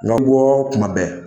Ŋa kɔ kuma bɛɛ.